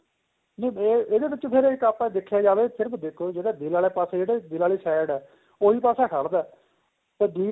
ਨਹੀਂ ਇਹ ਇਹਦੇ ਵਿੱਚ ਆਪਾਂ ਦੇਖਿਆ ਜਾਵੇ ਸਿਰਫ਼ ਦੇਖੋ ਦਿਲ ਪਾਸੇ ਜਿਹੜੀ ਦਿਲ ਵਾਲੀ side ਏ ਉਹੀ ਪਾਸਾ ਖੜਦਾ ਤੇ ਦੂਏ ਪਾਸੇ